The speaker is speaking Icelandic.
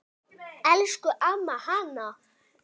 Elsku amma Hanna.